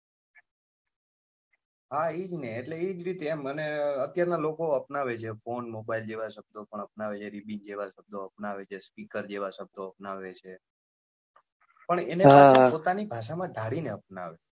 હા એ જ ને અત્યાર નાં લોકો અપનાવે છે ફોન mobile જેવા શબ્દો પણ અપનાવે છે ribon જેવા શબ્દો અપનાવે છે speaker જેવા શબ્દો અપનાવે છે પણ એના પાછળ પોતાની ભાષા માં ધારી ને અપનાવે છે.